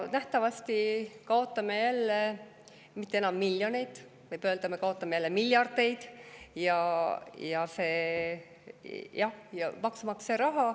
Nähtavasti kaotame jälle mitte enam miljoneid, vaid võib öelda, et me kaotame jälle miljardeid eurosid maksumaksja raha.